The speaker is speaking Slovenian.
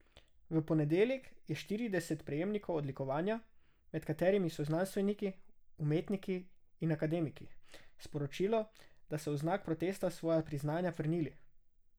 V ponedeljek je štirideset prejemnikov odlikovanja, med katerimi so znanstveniki, umetniki in akademiki, sporočilo, da so v znak protesta svoja priznanja vrnili.